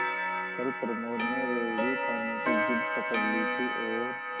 कल प्रमोद ने रेवड़ी खाने की जिद पकड ली थी और